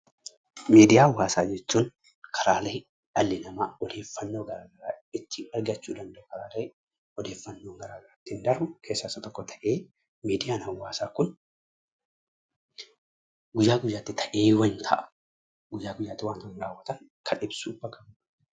Miidiyaalee hawaasaa jechuun karaalee dhalli namaa odeeffannoo garagaraa ittiin argatan jechuudha. Miidiyaan hawaasa Kun guyyaa guyyaatti ta'eewwan ta'an kan ibsudha.